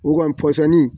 O kɔni pɔsɔni